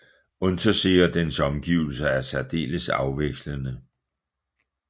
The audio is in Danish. Untersee og dens omgivelser er særdeles afvekslende